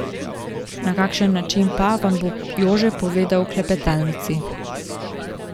Na kakšen način pa, vam bo Jože povedal v klepetalnici.